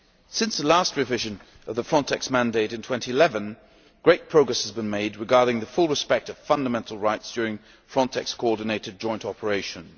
Since the last revision of the FRONTEX mandate in 2011, great progress has been made regarding fully respecting fundamental rights during FRONTEX coordinated joint operations.